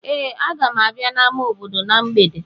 Ee, aga m abịa n'ámá obodo na mgbede.